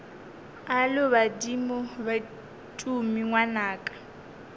alo badimo be tumi ngwanaka